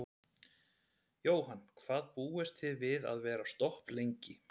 Jóhann: Hvað búist þið við að vera stopp lengi?